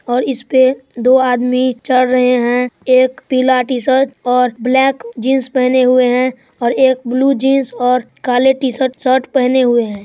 और इस पे दो आदमी चढ़ रहे हैं एक पीला टी-शर्ट और ब्लैक जीन्स पहने हुए हैं और एक ब्लू जीन्स और काले टी-शर्ट शर्ट पहने हुए हैं।